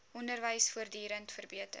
onderwys voortdurend verbeter